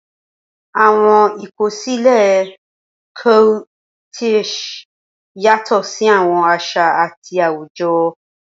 Awọn ikosile Coquettish yatọ si awọn aṣa ati awujọ.